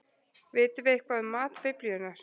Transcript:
Vitum við eitthvað um mat Biblíunnar?